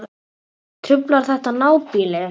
Truflar þetta nábýli?